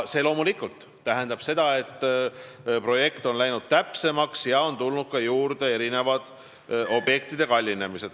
See loomulikult tähendab, et projekt on läinud täpsemaks ja on tekkinud ka mitme objekti kallinemine.